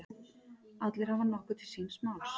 Allir hafa nokkuð til síns máls.